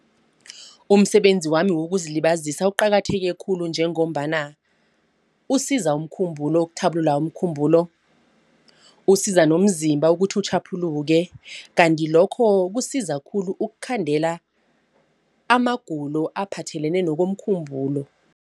Umsebenzi wami wokuzilibazisa uqakatheke khulu njengombana usiza umkhumbulo, ukuthabulula umkhumbulo. Usiza nomzimba ukuthi utjhaphuluke kanti lokho kusiza khulu ukukhandela amagulo aphathelene nokomkhumbulo.